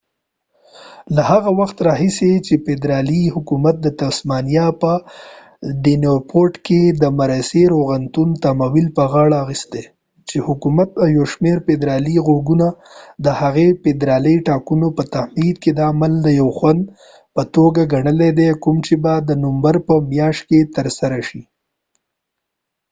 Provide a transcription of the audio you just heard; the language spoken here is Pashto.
له هغه وخت راهیسې چې فدرالي حکومت د تسمانیا په ډیونپورټ کې د مرسي روغتون تمویل په غاړه اخیستي چې حکومت او یو شمیر فدرالي غړو د هغه فدرالي ټاکنو په تمهيد کې دا عمل د یو خنډ په توګه ګنلی دی کوم چې به د نومبر په مياشت کې ترسره شي